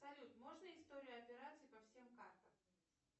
салют можно историю операций по всем картам